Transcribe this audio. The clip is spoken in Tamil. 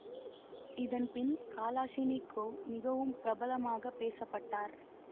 இதன் பின் கலாஷினிகோவ் மிகவும் பிரபலமாகப் பேச பட்டார்